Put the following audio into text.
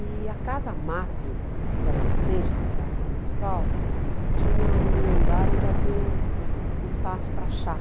E a Casa Map, que era na frente do Teatro Municipal, tinha um andar onde havia um um espaço para chá.